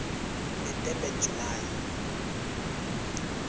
the durban july